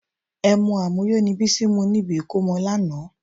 Ẹmu àmuyó ni Bísí mu níbi ìkómọ lánàá